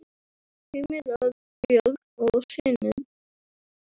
Heimir Örn, Björg og synir.